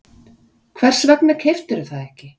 Hvers vegna keyptirðu það ekki?